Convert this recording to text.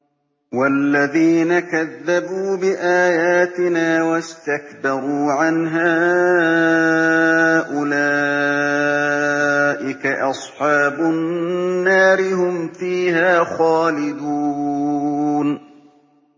وَالَّذِينَ كَذَّبُوا بِآيَاتِنَا وَاسْتَكْبَرُوا عَنْهَا أُولَٰئِكَ أَصْحَابُ النَّارِ ۖ هُمْ فِيهَا خَالِدُونَ